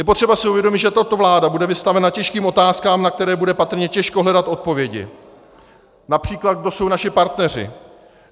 Je potřeba si uvědomit, že tato vláda bude vystavena těžkým otázkám, na které bude patrně těžko hledat odpovědi, například kdo jsou naši partneři.